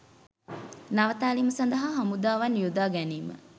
නවතාලීම සඳහා හමුදාවන් යොදා ගැනීම